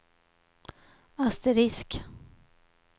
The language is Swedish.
asterisk